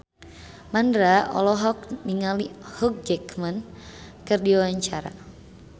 Mandra olohok ningali Hugh Jackman keur diwawancara